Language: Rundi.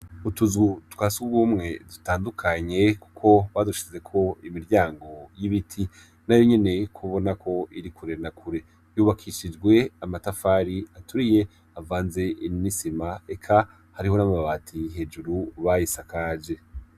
Utuzu twa sugumwe dutandukanye, kuko badushizeko imiryango y'ibiti nayo nyene ubona ko iri kure na kure, yubakishijwe amatafari aturiye avanze n'isima, eka hariho n'amabati hejuru bayisakaje .